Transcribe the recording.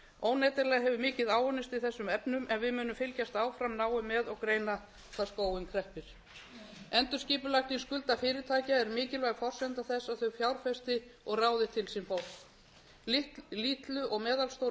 óneitanlega hefur mikið áunnist í þessum efnum en við munum fylgjast áfram náið með og greina hvar skóinn kreppir endurskipulagning skulda fyrirtækja er mikilvæg forsenda þess að þau fjárfesti og ráði til sín fólk litlu og meðalstóru